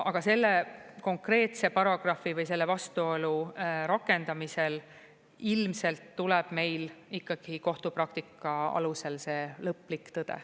Aga selle konkreetse paragrahvi või selle vastuolu rakendamisel ilmselt tuleb meil ikkagi kohtupraktika alusel see lõplik tõde.